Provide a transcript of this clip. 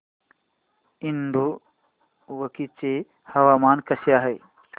इडुक्की चे हवामान कसे आहे